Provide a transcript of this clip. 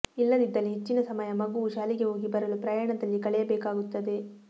ಇಲ್ಲದಿದ್ದಲ್ಲಿ ಹೆಚ್ಚಿನ ಸಮಯ ಮಗುವು ಶಾಲೆಗೆ ಹೋಗಿ ಬರಲು ಪ್ರಯಾಣದಲ್ಲಿ ಕಳೆಯಬೇಕಾಗುತ್ತದೆ